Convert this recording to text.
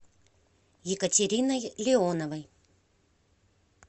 екатериной леоновой